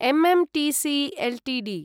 MMTC Ltd